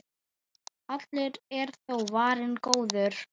Allur er þó varinn góður.